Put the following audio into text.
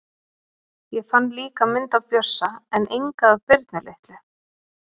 Ég fann líka mynd af Bjössa en enga af Birnu litlu.